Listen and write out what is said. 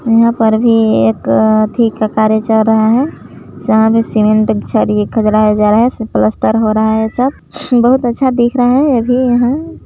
यहाँ पर भी एक ठीक सा कार्य चल रहा है सामने सीमेंट का खुदरा लगाया जा रहा सब पलस्तर हो रहा है सब बहुत अच्छा दिख रहा है यह भी यहाँ--